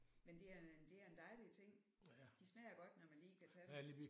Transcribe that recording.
Men det er en det er en dejlig ting. De smager godt når man lige kan tage dem